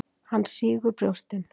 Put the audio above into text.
Hann sýgur brjóstin.